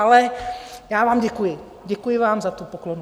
Ale já vám děkuji, děkuji vám za tu poklonu.